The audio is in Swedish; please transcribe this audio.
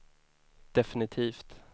definitivt